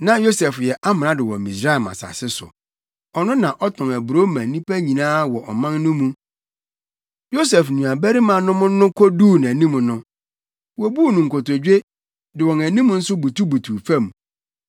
Na Yosef yɛ amrado wɔ Misraim asase so. Ɔno na ɔtɔn aburow ma nnipa nyinaa wɔ ɔman no mu. Yosef nuabarimanom no koduu nʼanim no, wobuu no nkotodwe, de wɔn anim nso butubutuw fam.